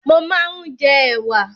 Mó máa ń jẹ ẹ̀wà